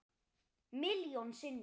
Milljón sinnum.